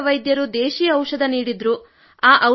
ಸಣ್ಣಪುಟ್ಟ ವೈದ್ಯರು ದೇಶಿ ಔಷಧ ನೀಡಿದರು